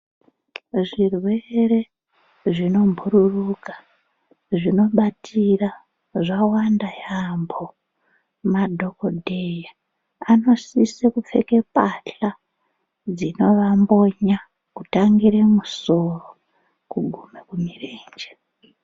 Zvirerwe zvinomhururuka zvinobatira zvawanda yambo, madhokodheya anosise kupfeke pahla dzinovambonya kutangire kumisoro kugumire kumirenje.